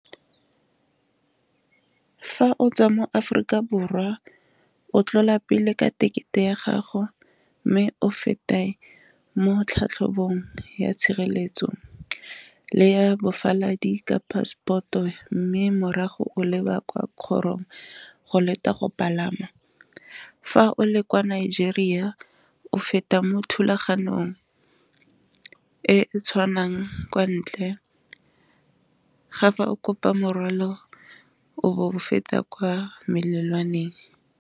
Fa o tswa mo Aforika Borwa o tlola pele ka tekete ya gago mme o feta mo tlhatlhobong ya tshireletso le ya bofaladi ka passport-o, mme morago o leba kwa kgorong go leta go palama, fa o le kwa Nigeria o feta mo thulaganyong e tshwanang kwa ntle ga fa o kopa morwalo o bo o fetsa kwa melelwane.